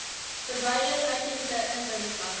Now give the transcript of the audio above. verwyder uitheemse indringerplante